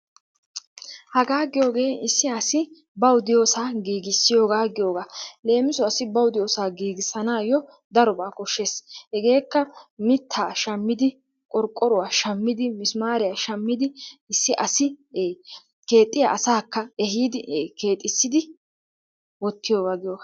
Hagaa giyogee issi asi bawu diyosaa giigissiyogaa giyogaa. Leemisuwassi asi bawu diyosaa giigissanaayyo darobaa koshshees. Hegeekka mittaa shammidi, qorqqoruwa shammidi, misimaariya shammidi issi asi ee keexxiya asaakka ehiidi ee keexissidi wottiyogaa giyogaa.